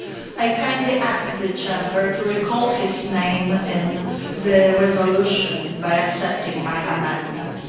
I kindly ask the Chamber to recall his name in the resolution by accepting my amendment.